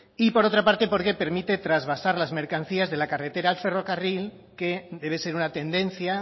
y por otra parte porque permite trasvasar las mercancías de la carretera al ferrocarril que debe ser una tendencia